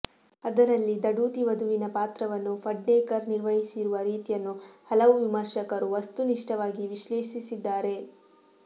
ಅದರಲ್ಲಿ ದಢೂತಿ ವಧುವಿನ ಪಾತ್ರವನ್ನು ಫಡ್ನೇಕರ್ ನಿರ್ವಹಿಸಿರುವ ರೀತಿಯನ್ನು ಹಲವು ವಿಮರ್ಶಕರು ವಸ್ತು ನಿಷ್ಠವಾಗಿ ವಿಶ್ಲೇಷಿಸಿದ್ದಾರೆ